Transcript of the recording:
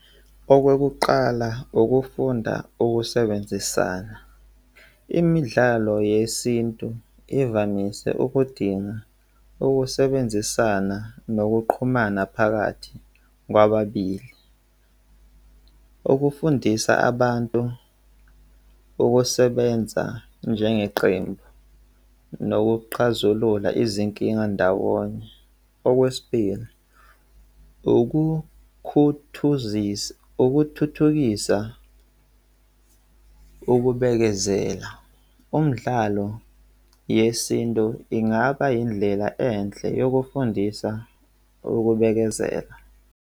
Okokuqala, ukufunda ukusebenzisana. Imidlalo yesintu ivamise ukudinga ukusebenzisana nokuqhumana phakathi kwababili okufundisa abantu ukusebenza njengeqembu nokuqhazulula izinkinga ndawonye. Okwesibili, ukukhuthuzisa, ukuthuthukisa ukubekezela. Umdlalo yesintu ingaba indlela enhle yokufundisa ukubekezela.